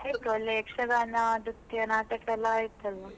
ಯಕ್ಷಗಾನ, ನೃತ್ಯ, ನಾಟಕ ಎಲ್ಲಾ ಆಯ್ತು ಅಲ್ವಾ.